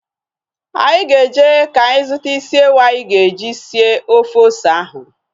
Anyị na-eje ka anyị zụta isi ewu anyị ga-eji sie ofe ose ahụ